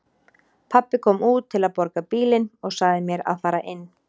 Pabbi kom út til að borga bílinn og sagði mér að fara inn.